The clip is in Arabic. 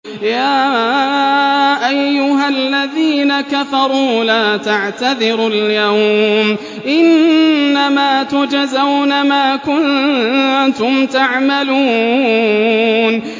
يَا أَيُّهَا الَّذِينَ كَفَرُوا لَا تَعْتَذِرُوا الْيَوْمَ ۖ إِنَّمَا تُجْزَوْنَ مَا كُنتُمْ تَعْمَلُونَ